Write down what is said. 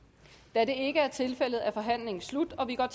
da det ikke er tilfældet er forhandlingen sluttet